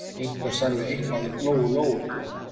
Einhver sagði eitthvað um Lóu-Lóu.